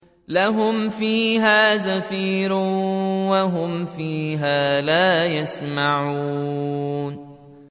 لَهُمْ فِيهَا زَفِيرٌ وَهُمْ فِيهَا لَا يَسْمَعُونَ